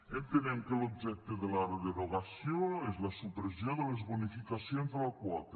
entenem que l’objecte de la derogació és la supressió de les bonificacions de la quota